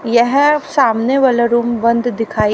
यह सामने वाला रूम बंद दिखाई--